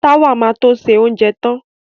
Táwà ma to ṣe oúnjẹ tán